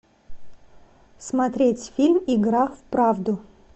смотреть фильм игра в правду